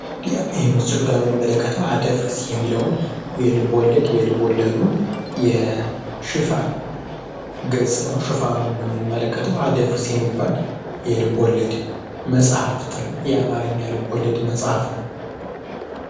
እዚህ የምንመለከተዉ አደፍርስ የሚለውን የልብ ወለድ የልቦለዱ የሽፋን ገጽ ነው ምንመለከተው አደፍርስ የሚባል የልቦለድ መጽሃፍት ነው የአማርኛ ልብወለድ መጽሃፍ ነው።